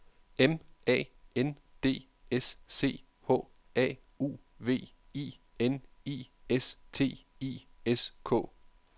M A N D S C H A U V I N I S T I S K